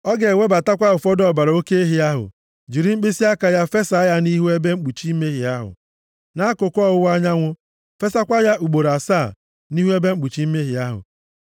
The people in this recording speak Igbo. Ọ ga-ewebatakwa ụfọdụ ọbara oke ehi ahụ, jiri mkpịsịaka ya fesa ya nʼihu ebe mkpuchi mmehie ahụ, nʼakụkụ ọwụwa anyanwụ, fesakwa ya ugboro asaa nʼihu ebe mkpuchi mmehie ahụ.